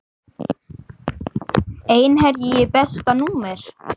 Einherji Besta númer?